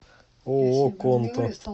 ооо конто